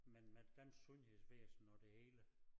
Men med dansk sundhedsvæsen og det hele